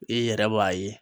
I yɛrɛ b'a ye.